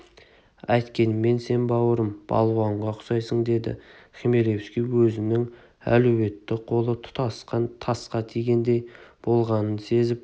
әйткенмен сен бауырым балуанға ұқсайсың деді хмелевский өзінің әлуетті қолы тұтасқан тасқа тигендей болғанын сезіп